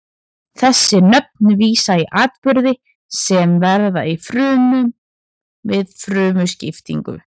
Þessi nöfn vísa í atburði sem verða í frumu við frumuskiptingu.